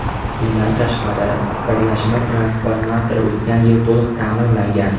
Bundan tashqari, birlashma transformatori o‘tgan yil to‘liq ta’mirlangan.